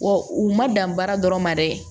Wa u ma dan baara dɔrɔn ma dɛ